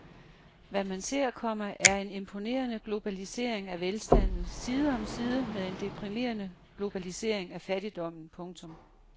Hvad man ser, komma er en imponerende globalisering af velstanden side om side med en deprimerende globalisering af fattigdommen. punktum